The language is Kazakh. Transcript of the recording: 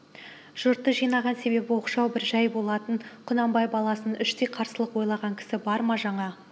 жұртты жинаған себебі оқшау бір жай болатын құнанбай баласына іштей қарсылық ойлаған кісі бар ма жаңа